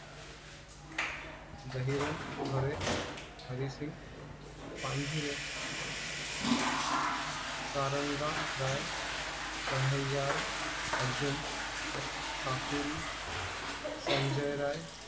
Dahirang Bhare Harising Panjhure Saranga Rai Kanhaiya Arjun Kakuli Sanjayrai